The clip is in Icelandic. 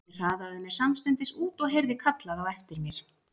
Ég hraðaði mér samstundis út og heyrði kallað á eftir mér.